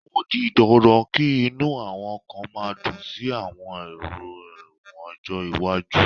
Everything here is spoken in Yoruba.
O di dandan kí inú àwọn kan má dùn sí àwọn èrò ẹ̀wọ̀n ọjọ́ iwájú